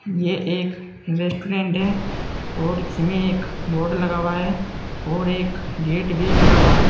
ये एक रेस्टोरेंट है और इसमें एक बोर्ड लगा हुआ है और एक गेट भी लगा हुआ है।